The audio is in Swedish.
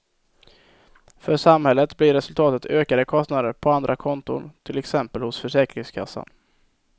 För samhället blir resultatet ökade kostnader på andra konton, till exempel hos försäkringskassan.